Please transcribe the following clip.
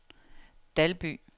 Dalby